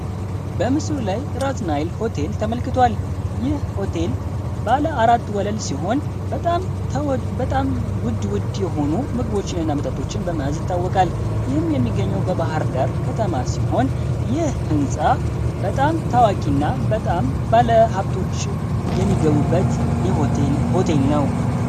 በምስሉ ላይ ራስ ሆቴል ተመልክቷል ይህ ሆቴል አራት ወለል ሲሆን በጣም ተውድ ውድ የሆኑ ምግቦችን እናመጣችን በታወቃል ወይም የሚገኘው በባህር ዳር ከተማ ሲሆን የህንፃ በጣም ታዋቂና በጣም ባለ ሃብቶች የሚገቡበት የሆቴል ሆቴል ነው